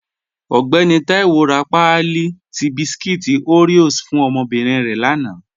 Ọgbẹ̀nì Taiwo rá páàlí tí bískúít Oreos fún ọmọ́bírín rẹ̀ lána